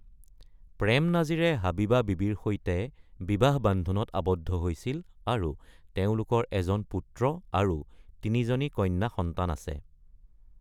প্ৰেম নাজিৰে হাবিবা বীবীৰ সৈতে বিবাহ বান্ধোনত আবদ্ধ হৈছিল আৰু তেওঁলোকৰ এজন পুত্ৰ আৰু তিনিজনী কন্যা সন্তান আছে।